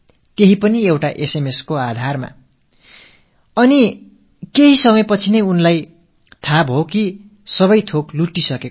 தான் முழுமையாக ஏமாற்றப்பட்டு விட்டோம் என்பதை அறிந்து கொள்ள அவருக்கு சில கணங்களே பிடித்தன